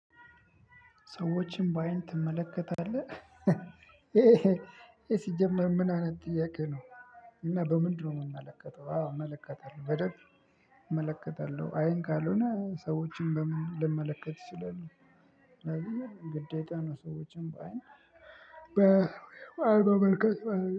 ሰዎችን በአይን ትመለከታለህ ይሄ ይሄ ሲጀመር ምን አይነት ጥያቄ ነው? እና በምንድነው የምመለከተው? አዎ እመለከታለሁ በደንብ። እመለከታለሁ አይን ካልሆነ ሰዎችን በምን ልመለከት እችላለሁ። ግዴታ ነው ሰዎችን በአይን። በ በአይን መመልከት ማለት ነው